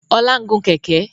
Ọlá ń gùn Kẹ̀kẹ́